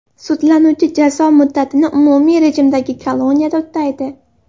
Sudlanuvchi jazo muddatini umumiy rejimdagi koloniyada o‘taydi.